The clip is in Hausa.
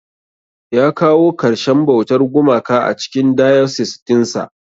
Ya kawo karshen bautar gumaka a cikin diocese dinsa.